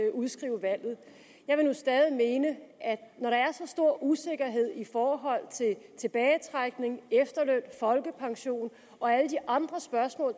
at udskrive valget jeg vil nu stadig mene at når der er så stor usikkerhed i forhold til tilbagetrækning efterløn folkepension og alle de andre spørgsmål